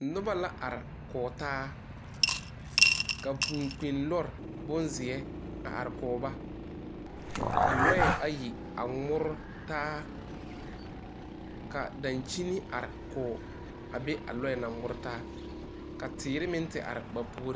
Noba la are kɔge taa ka vūūkpinlɔre bonpelaa a are kɔge ba ka lɔɛ ayi a ŋmore taa ka dankyini are kɔge a be a lɔɛ naŋ ŋmore taa ka teere meŋ te are ba puoriŋ.